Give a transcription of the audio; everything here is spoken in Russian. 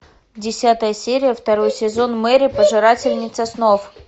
десятая серия второй сезон мэри пожирательница снов